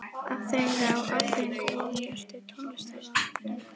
Afþreying á afþreyingu ofan Ertu tónlistarunnandi?